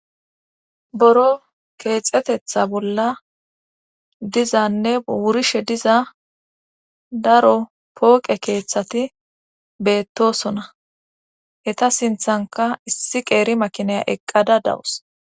boro keexetetha bolla dizanne wurishe diza daro pooqe keeththati beettosona hta sinthanka issi qeeri makinaya eqqada dawus